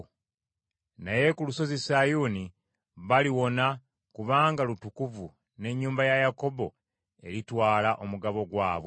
Naye ku Lusozi Sayuuni baliwona, kubanga lutukuvu, n’ennyumba ya Yakobo eritwala omugabo gwabwe.